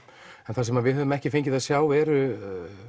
en það sem við höfum ekki fengið að sjá eru